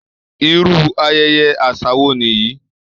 Irú ayẹyẹ àṣà wo nìyí!